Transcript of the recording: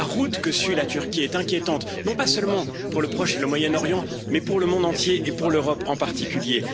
La route que suit la Turquie est inquiétante, non pas seulement pour le Proche et le Moyen Orient mais pour le monde entier et pour l'Europe en particulier.